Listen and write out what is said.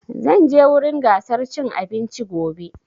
Zan je wurin gasar cin abinci gobe